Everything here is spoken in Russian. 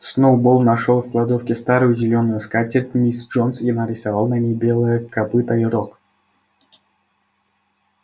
сноуболл нашёл в кладовке старую зелёную скатерть мисс джонс и нарисовал на ней белое копыто и рог